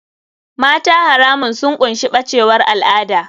Mata haramun sun ƙunshi bacewar al'ada.